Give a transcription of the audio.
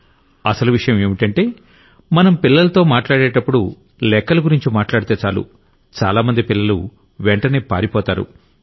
పైగా అసలు విషయం ఏంటంటే మనం పిల్లలతో మాట్లాడేటప్పుడు లెక్కల గురించి మాట్లాడితే చాలు చాలామంది పిల్లలు వెంటనే పారిపోతారు